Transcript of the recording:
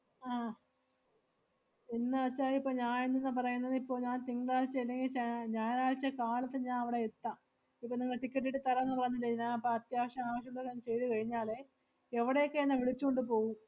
ആഹ് എന്നുവെച്ചാ ഇപ്പം ഞാ~ എന്ത്ന്നാ പറയുന്നേന്ന് ഇപ്പൊ ഞാ~ തിങ്കളാഴ്ച്ച അല്ലെങ്കി ശ~ ഞായറാഴ്ച്ച കാലത്തെ ഞാ~ അവടെ എത്താം. ഇപ്പം നിങ്ങള് ticket എട്~ തരാന്ന് പറഞ്ഞില്ലേ? ഞാ~ അപ്പ അത്യാവശ്യം ആവശ്യമുള്ളതെല്ലാം ചെയ്‌തു കഴിഞ്ഞാലെ, എവടെയൊക്കെ എന്നെ വിളിച്ചോണ്ട് പോവും?